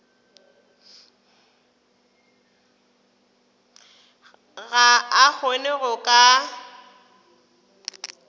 ga a kgone go ka